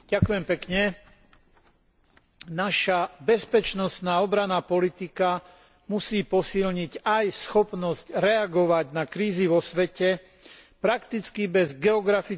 Naša bezpečnostná a obranná politika musí posilniť aj schopnosť reagovať na krízy vo svete prakticky bez geografického a tematického obmedzenia.